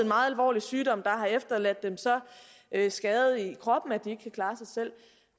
meget alvorlig sygdom har efterladt dem så skadet i kroppen at de ikke kan klare sig selv